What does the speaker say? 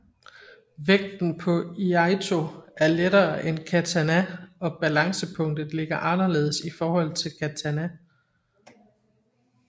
Vægten på iaitō er lettere end katana og balancepunktet ligger anderledes i forhold til katana